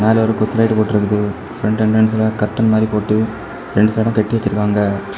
மேல ஒரு கொத்து லைட் போட்ருக்குது ஃப்ரண்ட் என்ட்ரன்ஸ்ல கர்டைன் மாரி போட்டு ரெண்டு சைடும் கட்டி வச்சிருக்காங்க.